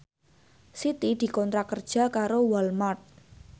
Siti dikontrak kerja karo Walmart